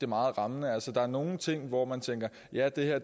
meget rammende altså der er nogle ting hvor man tænker at ja det her